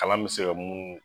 Ala min se ka mun